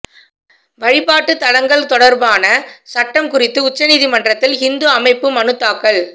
வழிபாட்டு தலங்கள் தொடர்பான சட்டம் குறித்து உச்ச நீதிமன்றத்தில் ஹிந்து அமைப்பு மனு தாக்கல்